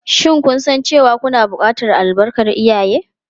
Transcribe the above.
Shin kun san cewa kuna buƙatar albarkar iyaye?